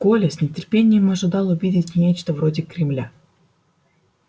коля с нетерпением ожидал увидеть нечто вроде кремля